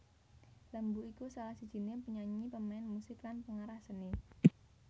Lembu iku salah sijiné penyanyi pemain musik lan pengarah seni